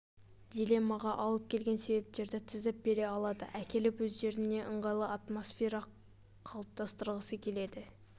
дилеммаға алып келген себептерді тізіп бере алады әкеліп өздеріне ыңғайлы атмосфера қалыптастырғысы келеді